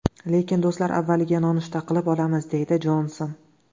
Lekin do‘stlar avvaliga nonushta qilib olamiz”, – deydi Jonson.